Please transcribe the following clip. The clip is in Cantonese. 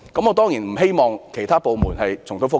我當然不希望其他部門重蹈覆轍。